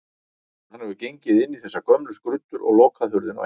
Hann hefur gengið inn í þessar gömlu skruddur og lokað hurðinni á eftir sér.